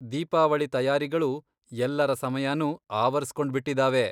ದೀಪಾವಳಿ ತಯಾರಿಗಳು ಎಲ್ಲರ ಸಮಯನೂ ಆವರಿಸ್ಕೊಂಡ್ಬಿಟ್ಟಿದ್ದಾವೆ.